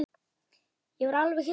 Ég var alveg hissa.